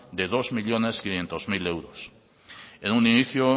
de dos millónes quinientos mil euros en un inicio